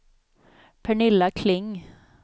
Pernilla Kling